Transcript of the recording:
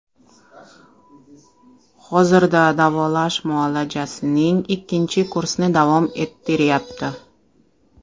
Hozirda davolash muolajasining ikkinchi kursni davom ettiryapti.